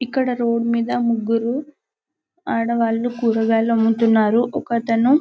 ఇక్కడ రోడ్డు మీద ముగ్గురు ఆడవాళ్లు కూరగాయలు అమ్ముతున్నారు ఒకతను --